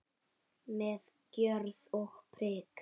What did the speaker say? Með gjörð og prik.